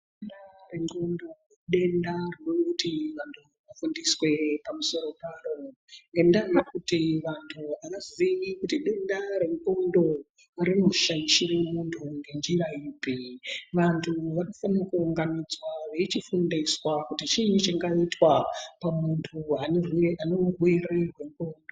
Denda rendxondo idenda rinoti vantu vanofundiswe pamusoro paro ngendaa yekuti antu anoziya kuti denda rendxondo rinoshaishire muntu ngenjira ipi. Vantu vanofanire kuunganidzwa veichifundiswe kuti chii chingaitwa pamuntu une urwere hwendxondo.